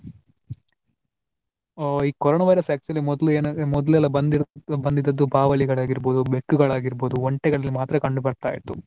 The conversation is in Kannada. ಆ ಈ ಕೊರೊನಾ virus actually ಮೊದ್ಲೆಲ್ಲಾ ಏನು ಮೊದ್ಲೆಲ್ಲಾ ಬಂದಿರುವುದು ಬಾವಲಿಳಾಗಿರಬಹುದು, ಬೆಕ್ಕುಗಳಾಗಿರಬಹುದು, ಒಂಟೆಗಳಲ್ಲಿ ಮಾತ್ರ ಕಂಡು ಬರ್ತಾ ಇತ್ತು.